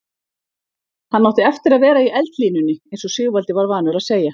Hann átti eftir að vera í eldlínunni eins og Sigvaldi var vanur að segja.